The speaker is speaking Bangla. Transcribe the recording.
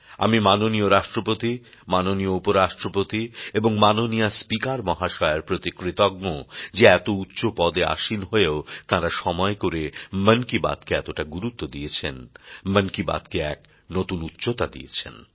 আমি মাননীয় রাষ্ট্রপতি মাননীয় উপরাষ্ট্রপতি এবং মাননীয়া স্পিকার মহাশয়ার প্রতি কৃতজ্ঞ যে এত উচ্চ পদে আসীন হয়েও তাঁরা সময় করে মন কি বাত কে এতটা গুরুত্ব দিয়েছেন মন কি বাত কে এক নতুন উচ্চতা দিয়েছেন